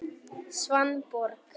Svanborg